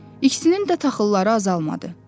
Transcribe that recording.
İkisinin də taxılları azalmadı.